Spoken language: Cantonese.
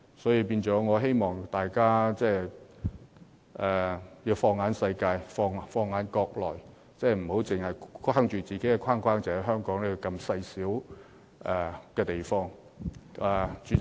所以，我希望大家能放眼世界，放眼國內，不要把自己困在小小的框架內，只着眼於香港這細小地方的事情。